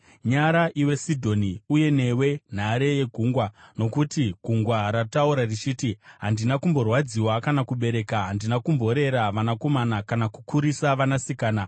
Nyara, iwe Sidhoni, uye newe nhare yegungwa, nokuti gungwa rataura richiti, “Handina kumborwadziwa kana kubereka; handina kumborera vanakomana kana kukurisa vanasikana.”